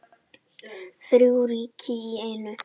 Þrjú ríki í einu